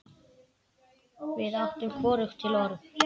Við áttum hvorugt til orð.